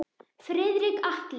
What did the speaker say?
Friðrik Atli.